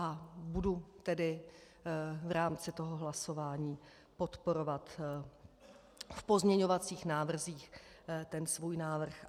A budu tedy v rámci toho hlasování podporovat v pozměňovacích návrzích ten svůj návrh.